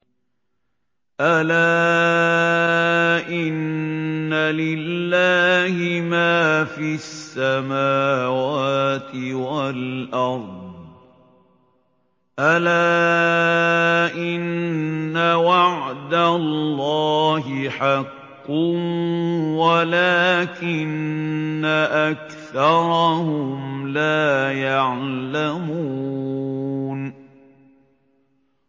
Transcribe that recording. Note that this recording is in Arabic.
أَلَا إِنَّ لِلَّهِ مَا فِي السَّمَاوَاتِ وَالْأَرْضِ ۗ أَلَا إِنَّ وَعْدَ اللَّهِ حَقٌّ وَلَٰكِنَّ أَكْثَرَهُمْ لَا يَعْلَمُونَ